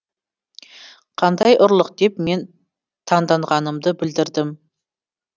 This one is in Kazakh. қандай ұрлық деп мен таңданғанымды білдірдім